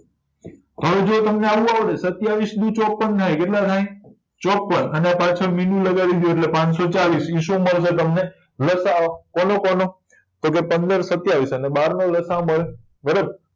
સત્યાવીસ દુ ચોપન થાય કેટલા થાય ચોપન અને પાછણ મીંડું લગાવી દયો એટલે પનસોચાલીસ લસાઅ કોનો કોનો તો કે પંદર સત્યાવીસ અને બારનો લસાઅ બને બરાબર